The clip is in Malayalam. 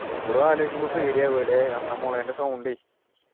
ഇപ്പോളും ആലോചിക്കുമ്പോ പേടിയാവല്ലേ, ആ മൊളേൻ്റെ sound ഏ